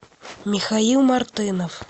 михаил мартынов